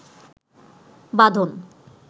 বাঁধন